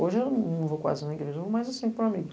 Hoje eu não vou quase na igreja nao, mas assim